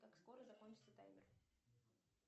как скоро закончится таймер